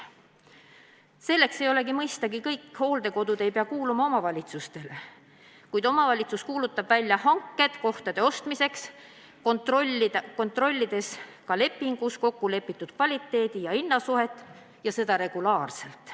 Selleks, mõistagi, ei peagi kõik hooldekodud kuuluma omavalitsustele, kuid omavalitsus kuulutab välja hanked kohtade ostmiseks, kontrollides ka lepingus kokku lepitud kvaliteedi ja hinna suhet, ning seda tehakse regulaarselt.